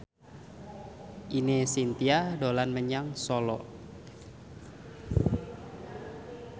Ine Shintya dolan menyang Solo